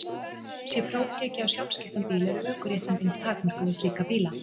Sé próf tekið á sjálfskiptan bíl eru ökuréttindin takmörkuð við slíka bíla.